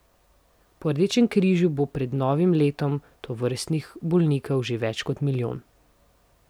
Po Rdečem križu bo pred novim letom tovrstnih bolnikov že več kot milijon.